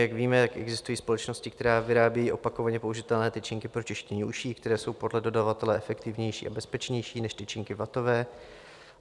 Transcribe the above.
Jak víme, existují společnosti, které vyrábí opakovaně použitelné tyčinky pro čištění uší, které jsou podle dodavatele efektivnější a bezpečnější než tyčinky vatové.